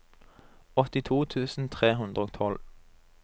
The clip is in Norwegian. åttito tusen tre hundre og tolv